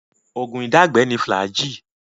Oògún ìdágbẹ ni Flagyl.